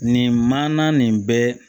Nin manana nin bɛɛ